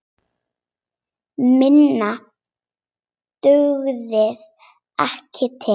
Minna dugði ekki til.